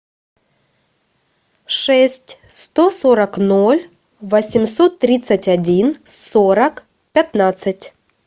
шесть сто сорок ноль восемьсот тридцать один сорок пятнадцать